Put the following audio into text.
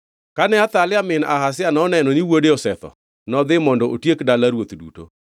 Kane Athalia min Ahazia noneno ni wuode osetho, nodhi mondo otiek dala ruoth duto.